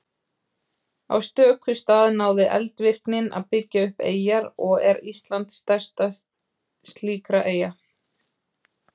Á stöku stað náði eldvirknin að byggja upp eyjar og er Ísland stærst slíkra eyja.